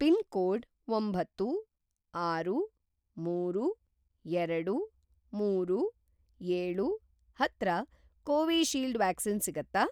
Pin code ಒಂಬತ್ತು, ಆರು, ಮೂರು, ಎರಡು, ಮೂರು, ಏಳು ಹತ್ರ ಕೋವಿಶೀಲ್ಡ್ ವ್ಯಾಕ್ಸಿನ್ ಸಿಗತ್ತಾ?